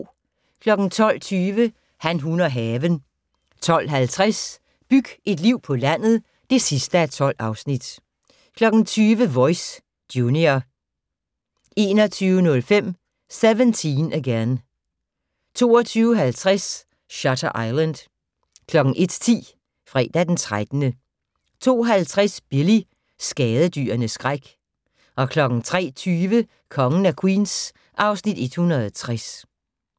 12:20: Han, hun og haven 12:50: Byg et liv på landet (12:12) 20:00: Voice - junior 21:05: 17 Again 22:50: Shutter Island 01:10: Fredag den 13. 02:50: Billy - skadedyrenes skræk 03:20: Kongen af Queens (Afs. 160)